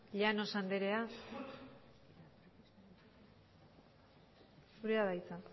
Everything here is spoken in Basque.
llanos anderea zurea da hitza